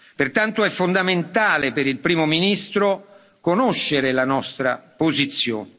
Pertanto, è fondamentale per il Primo ministro conoscere la nostra posizione.